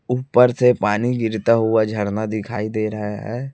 ऊपर से पानी गिरता हुआ झरना दिखाई दे रहे है।